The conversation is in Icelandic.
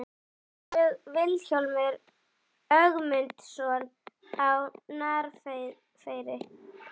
Mér dettur í hug Vilhjálmur Ögmundsson á Narfeyri.